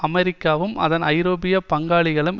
அமெரிக்காவும் அதன் ஐரோப்பிய பங்காளிகளும்